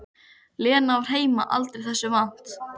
Lena var heima aldrei þessu vant.